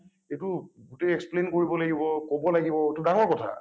এইটো গোটেই explain কৰিব লাগিব কব লাগিব , এইটো ডাঙৰ কথা ।